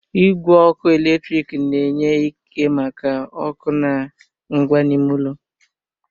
Igwe ọkụ eletrik na-enye ike maka ọkụ na ngwa n'ime ụlọ